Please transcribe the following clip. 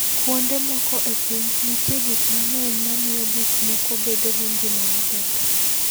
Kuonde moko e piny, nitie gik mang'eny mamiyo gik moko bedo gi ngima maber.